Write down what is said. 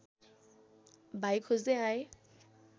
भाइ खोज्दै आए